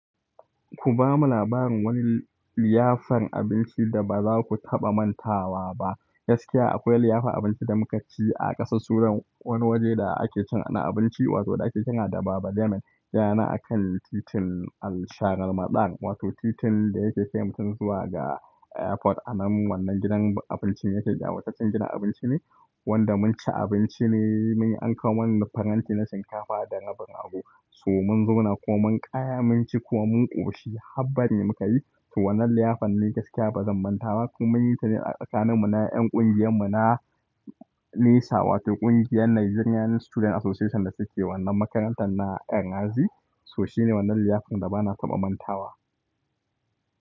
Ku ba mu labarin wani liyafar abinci da ba za ku taɓa mantawa ba. Gaskiya akwai liyafar abinci da muka ci a ƙasa, sunan wani waje da ake cin ana abinci wato da ake cika da Baba Damon. Ya na a kan titin Alsharma ɗan wato titin da yake fim tun zuwa ga airport. Anan wannan gidan abinci yake da wata cin gidan abinci ne wanda mun ci abinci ne, mun yi anka wannan faranti na shinkafa da rabin abu. So mun zuna ko mun kaya mun ci kuwa mun ƙoshi. Haba ne muka yi. Wannan liyafan ne gaskiya ba zan manta ba kuma mun yi ta ne a tsakanin mu na kungiyar mu na lesser wato kungiyar Nigerian student association da suke wannan makarantar na ya gazi. So shi ne wannan liyafar da ba na taɓa mantawa.